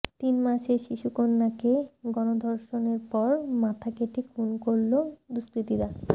তিন মাসের শিশুকন্যাকে গণধর্ষণের পর মাথা কেটে খুন করল দুষ্কৃতীরা